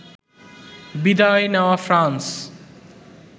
বিদায় নেয়া ফ্রান্স